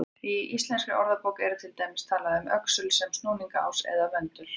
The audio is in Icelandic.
Í Íslenskri orðabók er til dæmis talað um öxul sem snúningsás eða möndul.